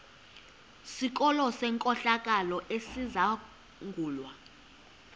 sikolo senkohlakalo esizangulwa